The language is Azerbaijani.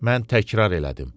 Mən təkrar elədim.